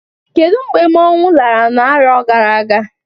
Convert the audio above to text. Ked mgbe mmọnwụ lara n,arọ gara aga?